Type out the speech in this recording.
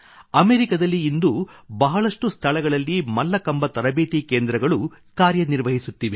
ಅಮೆರಿಕದಲ್ಲಿ ಇಂದು ಬಹಳಷ್ಟು ಸ್ಥಳಗಳಲ್ಲಿ ಮಲ್ಲಕಂಬ ತರಬೇತಿ ಕೇಂದ್ರಗಳು ಕಾರ್ಯನಿರ್ವಹಿಸುತ್ತಿವೆ